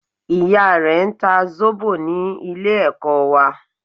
Ìya rẹ n ta Zóbò ní Ilé ẹ̀kọ́ wà